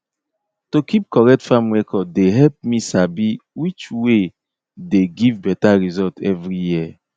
to keep correct farm record dey help me sabi which way dey give better result every year